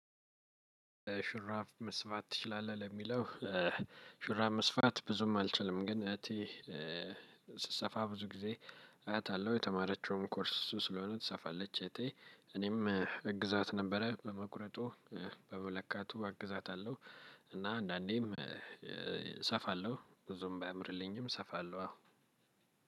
ሽራብ መስፋት ትችላለህ ለሚለው? ሽራብ መስፋት ብዙም አልችልም ግን እቴ ስሰፋ ብዙ ጊዜ አያታለሁ የተማረችውም ኮርስ እሱ ስለሆነ ትሰፋለች። እቴ እኔም አግዛት ነበረ በመቁረጡ በመለካቱ እግዛታለሁ። እና አንዳንዴም እሰፋለሁ ብዙም ባያምርልኝም እሰፋለሁ። አዎ